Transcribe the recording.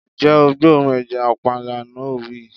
Ǹjẹ́ o gbóòórùn ẹja panla. No wii